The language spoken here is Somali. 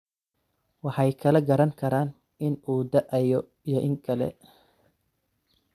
Waxay kala garan karaan in uu da'ayo iyo in kale.